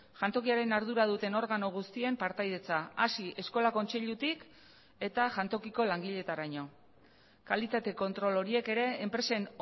jantokiaren ardura duten organo guztien partaidetza hasi eskola kontseilutik eta jantokiko langileetaraino kalitate kontrol horiek ere enpresen